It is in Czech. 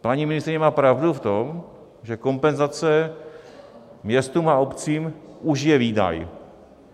Paní ministryně má pravdu v tom, že kompenzace městům a obcím už je výdaj.